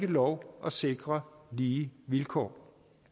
lov at sikre lige vilkår